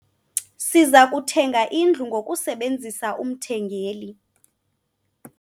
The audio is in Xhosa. Siza kuthenga indlu ngokusebenzisa umthengeli.